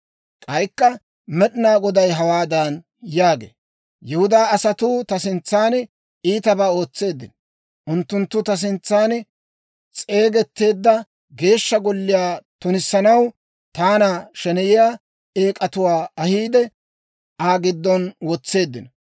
K'aykka Med'inaa Goday hawaadan yaagee; «Yihudaa asatuu ta sintsan iitabaa ootseeddino. Unttunttu ta suntsan s'eegetteedda Geeshsha Golliyaa tunissanaw, taana sheneyiyaa eek'atuwaa ahiide, Aa giddon wotseeddino.